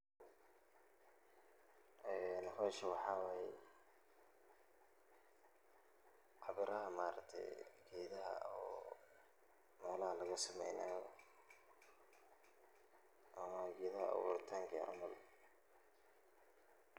Meshaan waxa waye qabiyaha maaragte gedaha oo nolaha lagasameynayo, gedaha aburitanka camal.